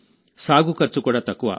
సాగు ఖర్చు కూడా తక్కువ